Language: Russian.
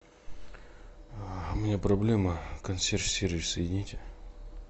у меня проблема консьерж сервис соедините